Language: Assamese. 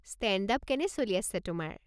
ষ্টেণ্ড-আপ কেনে চলি আছে তোমাৰ।